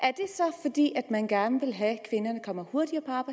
er det så man gerne vil have at kvinderne kommer hurtigere